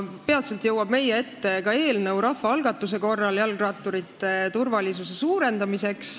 Peatselt jõuab meie ette ka rahvaalgatuse korras algatatud eelnõu jalgratturite turvalisuse suurendamiseks.